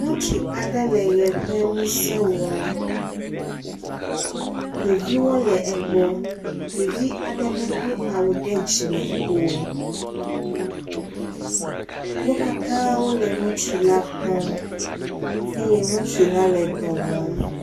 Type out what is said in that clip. ŋutsu aɖe le ʋe ƒe ŋuse wɔm ɖeviwo le egbe. Ɖevi aɖe medo awu ɖe dzime o. wo katã wole ŋusu la kpɔm eye ŋutsu la dɔ wɔm.